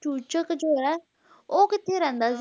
ਚੂਚਕ ਜੋ ਹੈ ਉਹ ਕਿਥੇ ਰਹਿੰਦਾ ਸੀ